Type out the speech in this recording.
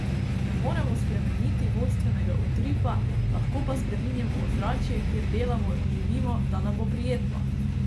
Ne moremo spremeniti vodstvenega utripa, lahko pa spreminjamo ozračje, kjer delamo in živimo, da nam bo prijetno!